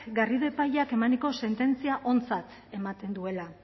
garrido epaileak emaniko sententzia ontzat ematen duela